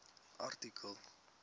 artikel